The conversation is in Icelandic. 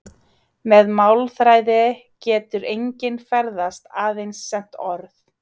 Með málþræði getur enginn ferðast- aðeins sent orð.